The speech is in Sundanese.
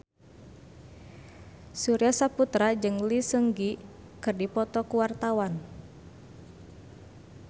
Surya Saputra jeung Lee Seung Gi keur dipoto ku wartawan